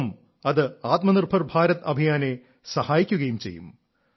ഒപ്പം അത് ആത്മനിർഭർ ഭാരത് അഭിയാനെ സഹായിക്കുകയും ചെയ്യും